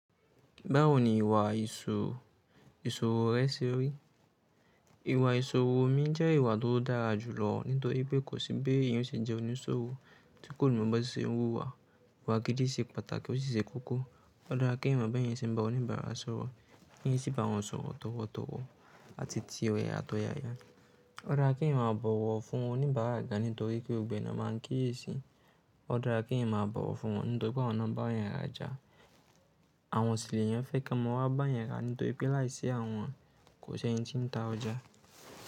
Báwo ni ìwà ìṣòwo rẹ ṣe rí? Ìwà ìṣòwo mi jẹ́ ìwà tó dára jùlọ nítorí pé kò sí bí èèyàn ó ṣe jẹ́ oníṣòwò tí kò mọ̀ bó ṣe ń húwa. Iwà gìdí ì ṣe pàtàkì ó sì ṣe kókó Ó dára kí èèyàn mọ̀ bí èèyàn ṣe ń bá oníbàárà sọ̀rọ̀, kí ẹ sì bá wọn sọ̀rọ̀ tọ̀wọ̀tọ̀wọ̀ àti ti ọ̀yàyàtọ̀yàyà. Ó dára kí èèyàn máa bọ̀wọ̀ fún oníbàárà gan nítorí pé gbogbo ẹ̀ ńá máa ń kíyèsi. Ó dára kí èèyàn máa bọ̀wọ̀ fún wọn nítorí pé àwọn ńá nbá 'yan rajà. Àwọn sì l'èyàn fẹ́ k'wọ́n ma wa bá yẹn rà nítorí pé láìsí àwọn kò ṣí ẹni tí ń ta ọjà.